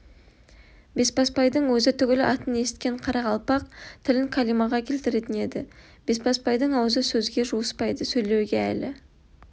бесбасбайдың өзі түгіл атын есіткен қарақалпақ тілін кәлимаға келтіретін еді бесбасбайдың аузы сөзге жуыспайды сөйлеуге әлі